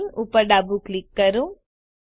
plane ઉપર ડાબું click કરો